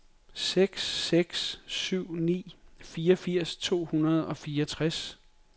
seks seks syv ni fireogfirs to hundrede og fireogtres